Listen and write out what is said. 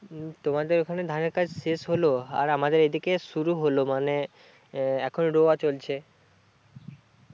তোমাদের ওখানে ধানের কাজ শেষ হলো আর আমাদের এইদিকে শুরু হলো মানে এ এখনো রোয়া চলছে